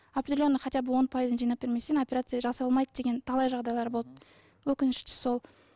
определенный хотя бы он пайызын жинап бермесең операция жасалмайды деген талай жағдайлар болды өкініштісі сол